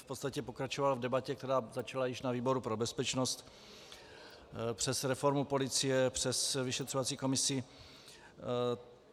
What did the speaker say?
V podstatě pokračoval v debatě, která začala již na výboru pro bezpečnost, přes reformu policie, přes vyšetřovací komisi.